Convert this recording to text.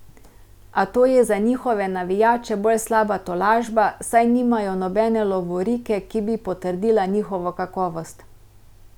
A to je za njihove navijače bolj slaba tolažba, saj nimajo nobene lovorike, ki bi potrdila njihovo kakovost.